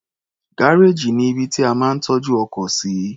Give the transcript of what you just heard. Gárèjì ní ibi tí a máa ń tọ́jú ọkọ̀ sí.